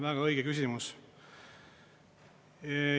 Väga õige küsimus.